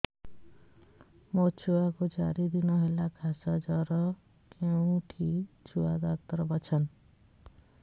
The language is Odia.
ମୋ ଛୁଆ କୁ ଚାରି ଦିନ ହେଲା ଖାସ ଜର କେଉଁଠି ଛୁଆ ଡାକ୍ତର ଵସ୍ଛନ୍